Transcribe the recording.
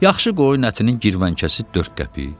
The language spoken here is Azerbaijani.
Yaxşı qoyun ətinin girvənkəsi 4 qəpik.